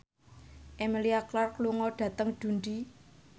Emilia Clarke lunga dhateng Dundee